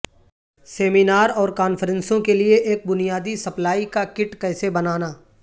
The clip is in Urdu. سیمینار اور کانفرنسوں کے لئے ایک بنیادی سپلائی کا کٹ کیسے بنانا